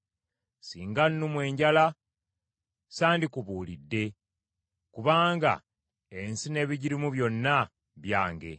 Singa nnumwa enjala sandikubuulidde: kubanga ensi n’ebigirimu byonna byange.